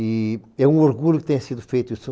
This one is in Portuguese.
E é um orgulho que tenha sido feito isso.